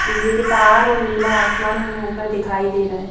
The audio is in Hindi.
बिजली के तार और नीला आसमान हमें ऊपर दिखाई दे रहा है।